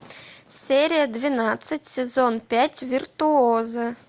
серия двенадцать сезон пять виртуозы